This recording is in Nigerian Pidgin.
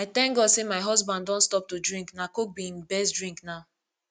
i thank god say my husband don stop to drink na coke be im best drink now